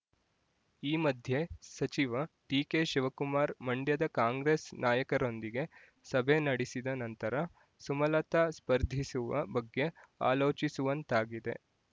ಈ ಮಧ್ಯೆ ಸಚಿವ ಡಿಕೆಶಿವಕುಮಾರ್ ಮಂಡ್ಯದ ಕಾಂಗ್ರೆಸ್ ನಾಯಕರೊಂದಿಗೆ ಸಭೆ ನಡೆಸಿದ ನಂತರ ಸುಮಲತಾ ಸ್ಪರ್ಧಿಸುವ ಬಗ್ಗೆ ಆಲೋಚಿಸುವಂತಾಗಿದೆ